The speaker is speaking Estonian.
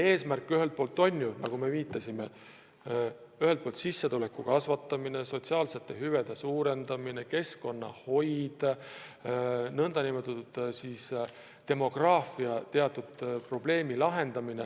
Eesmärk on ju, nagu viidatud, sissetuleku kasvatamine, sotsiaalsete hüvede suurendamine, keskkonnahoid, ka teatud demograafiliste probleemide lahendamine.